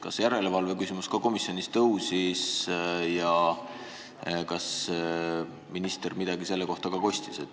Kas järelevalve küsimus ka komisjonis tõusis ja kui tõusis, siis kas minister midagi selle kohta kostis?